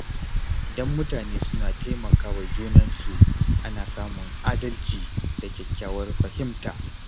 Idan mutane suna taimakawa junansu, ana samun adalci da kyakkyawar fahimta.